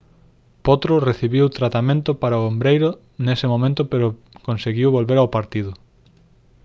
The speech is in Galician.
potro recibiu tratamento para o ombreiro nese momento pero conseguiu volver ao partido